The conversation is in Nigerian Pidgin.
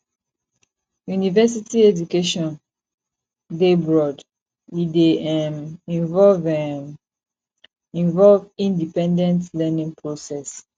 university education dey broad e dey um involve um involve independent learning process